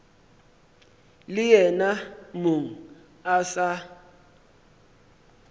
le yena mong a sa